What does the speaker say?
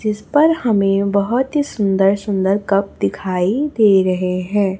जिस पर हमें बहोत ही सुंदर सुंदर कप दिखाई दे रहे हैं।